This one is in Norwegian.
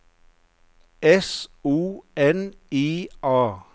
S O N I A